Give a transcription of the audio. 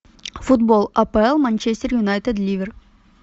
футбол апл манчестер юнайтед ливер